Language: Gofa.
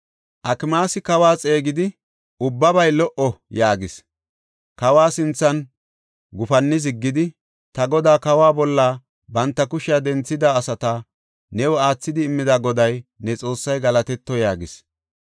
Akimaasi kawa xeegidi, “Ubbabay lo77o!” yaagis. Kawa sinthan gufanni ziggidi, “Ta godaa, kawa bolla banta kushiya denthida asata new aathidi immida Goday, ne Xoossay galatetto” yaagis.